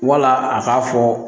Wala a k'a fɔ